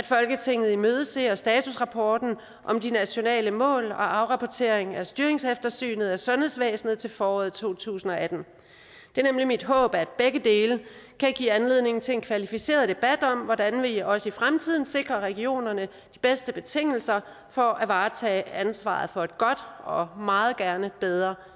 folketinget imødeser i den forbindelse statusrapport om de nationale mål og afrapportering af styringseftersynet af sundhedsvæsenet til foråret to tusind og atten det er nemlig mit håb at begge dele kan give anledning til en kvalificeret debat om hvordan vi også i fremtiden sikrer regionerne de bedste betingelser for at varetage ansvaret for et godt og meget gerne bedre